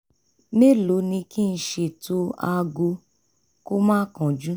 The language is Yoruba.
mẹ́lòó ni kí n ṣètò aago kó má kánjú?